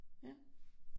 Ja